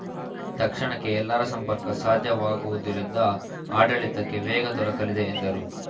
ತಕ್ಷಣಕ್ಕೆ ಎಲ್ಲರ ಸಂಪರ್ಕ ಸಾಧ್ಯವಾಗುವುದರಿಂದ ಆಡಳಿತಕ್ಕೆ ವೇಗ ದೊರಕಲಿದೆ ಎಂದರು